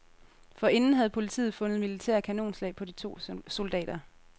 Forinden havde politiet fundet militære kanonslag på de to soldater.